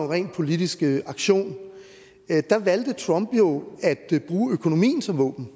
ren politisk aktion valgte trump jo at bruge økonomien som våben